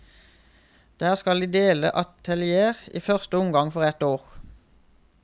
Der skal de dele atelier, i første omgang for et år.